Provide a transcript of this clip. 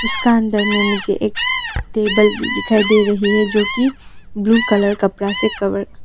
इसका अंदर में मुझे एक टेबल भी दिखाई दे रही है जो की ब्लू कलर कपड़ा से कवर --